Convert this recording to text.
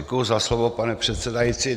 Děkuji za slovo, pane předsedající.